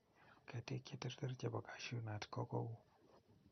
Ketik cheterter chebo Cashew nut ko kou.